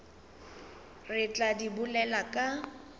re tla di bolela ka